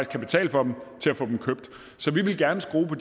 kan betale for dem til at få dem købt så vi vil gerne skrue på